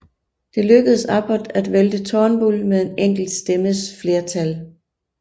Det lykkedes Abbott at vælte Turnbull med en enkelt stemmes flertal